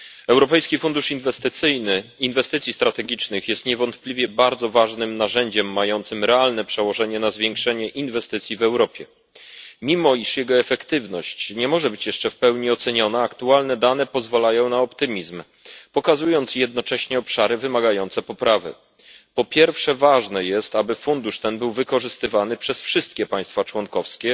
Europejski Fundusz na rzecz Inwestycji Strategicznych jest niewątpliwie bardzo ważnym narzędziem mającym realne przełożenie na zwiększenie inwestycji w Europie. Mimo iż jego efektywność nie może być jeszcze w pełni oceniona, aktualne dane pozwalają na optymizm, pokazując jednocześnie obszary wymagające poprawy. Po pierwsze, ważne jest, aby fundusz ten był wykorzystywany przez wszystkie państwa członkowskie.